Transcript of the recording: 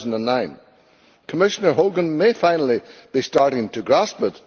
2009. Commissioner Hogan may finally be starting to grasp it.